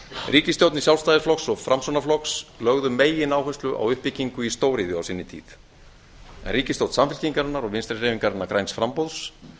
ríkisstjórnir sjálfstæðisflokks og framsóknarflokks lögðu megináherslu á uppbyggingu á stóriðju á sinni tíð en ríkisstjórn samfylkingarinnar og vinstri hreyfingarinnar græns framboðs